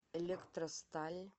электросталь